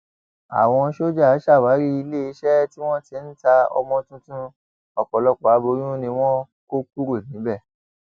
àwọn sójà ṣàwárí iléeṣẹ tí wọn ti ń ta ọmọ tuntun ọpọlọpọ aboyún ni wọn kó kúrò níbẹ